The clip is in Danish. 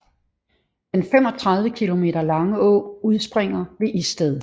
Den 35 km lange å udspringer ved Isted